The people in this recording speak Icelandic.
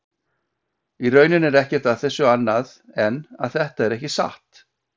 Í rauninni er ekkert að þessu annað en að þetta er ekki satt.